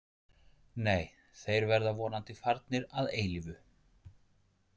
Nei, þeir verða vonandi farnir að eilífu.